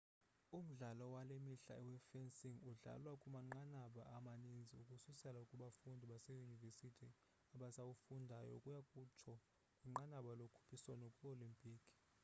umdlalo wale mihla we-fencing udlalwa kumanqanaba amaninzi ukususela kubafundi baseyunivesithi abasawufundayo ukuya kutsho kwinqanaba lokhuphiswano kwi-olimpiki